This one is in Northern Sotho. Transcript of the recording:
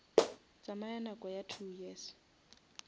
tsamaya nako ya two years